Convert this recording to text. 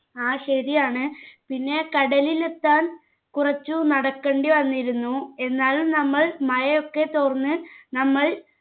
ആ ശരിയാണ് പിന്നെ കടലിലെത്താൻ കുറച്ചു നടക്കണ്ടി വന്നിരുന്നു എന്നാലും നമ്മൾ മഴയൊക്കെ തോർന്ന് നമ്മൾ